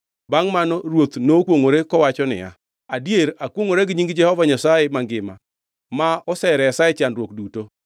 Bangʼ mano ruoth nokwongʼore kowacho niya, “Adier akwongʼora gi nying Jehova Nyasaye mangima ma oseresa e chandruok duto,